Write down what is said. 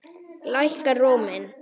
Lækkar róminn.